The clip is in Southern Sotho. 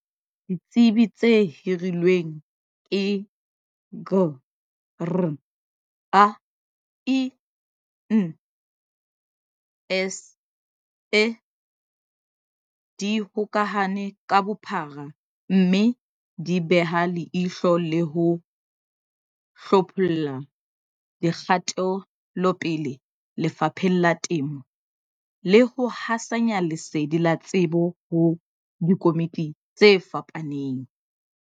Ditsebi tse hirilweng ke Grain SA, di hokahane ka bophara, mme di beha leihlo le ho hlopholla dikgatelopele lefapheng la temo le ho hasanya lesedi la tsebo ho dikomiti tse fapaneng.